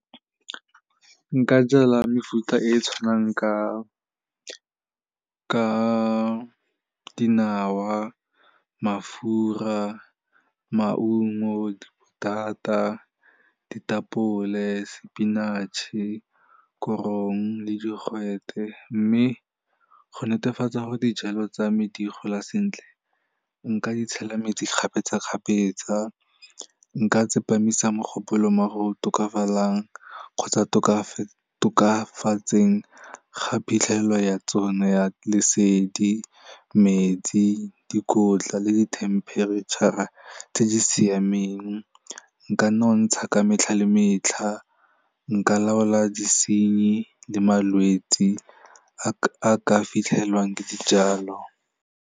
Nka jala mefuta e tshwanang ka dinawa, mafura, maungo, dipotata, ditapole, spinach-e, korong le digwete mme go netefatsa gore dijalo tsame di gola sentle nka tshela metsi kgapetsakgapetsa, nka tsepamisa mogopolo mo go tokafalang kgotsa tokafatseng ga phitlhelelo ya tsona ya lesedi, metsi, dikotla le dithemperetšha tse di siameng, nka nontsha ka metlha le metlha nka laola disenyi le malwetsi a ka fitlhelwang ke dijalo.